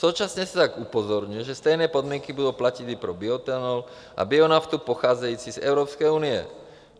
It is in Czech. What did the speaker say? Současně se však upozorňuje, že stejné podmínky budou platit i pro bioetanol a bionaftu pocházející z Evropské unie.